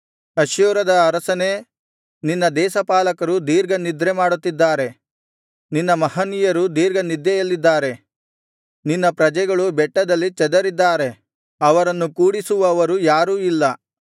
ಅಶ್ಶೂರದ ಅರಸನೇ ನಿನ್ನ ದೇಶಪಾಲಕರು ದೀರ್ಘ ನಿದ್ರೆ ಮಾಡುತ್ತಿದ್ದಾರೆ ನಿನ್ನ ಮಹನೀಯರು ದೀರ್ಘನಿದ್ದೆಯಲ್ಲಿದ್ದಾರೆ ನಿನ್ನ ಪ್ರಜೆಗಳು ಬೆಟ್ಟಗಳಲ್ಲಿ ಚದರಿದ್ದಾರೆ ಅವರನ್ನು ಕೂಡಿಸುವವರು ಯಾರೂ ಇಲ್ಲ